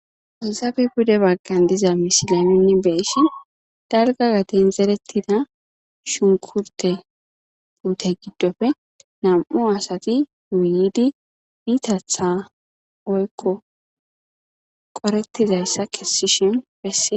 Izaabe bude baggan diza misilyaminni beysi darga gaten zerettida shunkurte ute giddofe nam'u asati wuyidi bitatha oykko qorettizayssa kessishin besse.